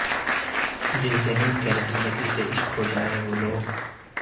جن سے مل کر زندگی سے عشق ہو جائے وہ لوگ